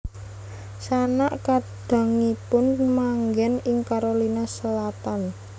Sanak kadangipun manggen ing Carolina Selatan